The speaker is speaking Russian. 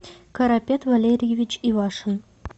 карапет валерьевич ивашин